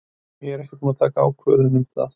Ég er ekkert búin að taka ákvörðun um það.